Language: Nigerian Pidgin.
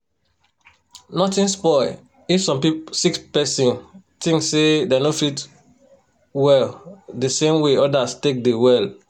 nothing spoil if some sick person thinks say dem no fit well the same way others take dey well